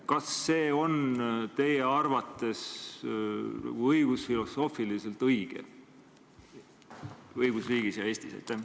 Kas see on teie arvates õigusfilosoofiliselt õige õigusriigis ja Eestis?